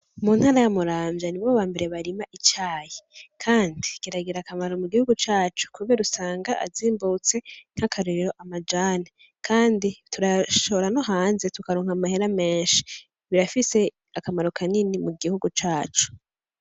Mu ntara ya muramvya nibo bambere barima icayi, kandi kiragira akamaro mu gihugu cacu kubera usanga azimbutse nk'akarorero: amajani , Kandi turayashora no hanze tukaronka amahera menshi. Birafise akamaro kanini mu gihugu cacu.